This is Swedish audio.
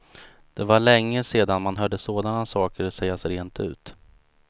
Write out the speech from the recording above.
Det var länge sedan man hörde sådana saker sägas rent ut.